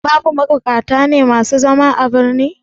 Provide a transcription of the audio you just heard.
Babu mabukata ne masu zama a birni?